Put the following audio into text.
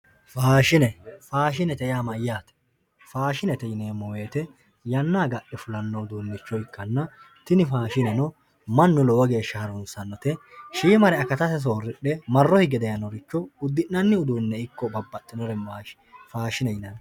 Faashine, faashinete yaa mayatte, faashinete yineemo woyite yana agare fulanno uduunicho ikkanna, tini faashinenno manu lowo geesha harunisanote shiima geya akatase sooridhe maro higge dayinoricho udi'nanni uduunicho ikko babaxxinore faashine yinanni